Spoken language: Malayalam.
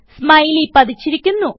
സ്മൈലി പതിച്ചിരിക്കുന്നു